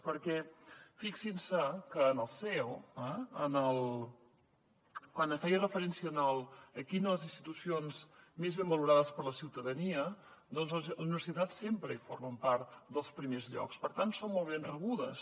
perquè fixin se que en el ceo quan feia referència a quines de les institucions eren més ben valorades per la ciutadania doncs les universitats sempre formen part dels primers llocs per tant són molt ben rebudes